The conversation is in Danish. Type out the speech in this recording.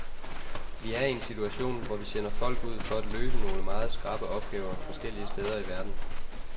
Vi er i en situation, hvor vi sender folk ud for at løse nogle meget skrappe opgaver forskellige steder i verden.